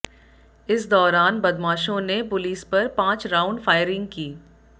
इस दौरान बदमाशों ने पुलिस पर पांच राउंड फायरिंग की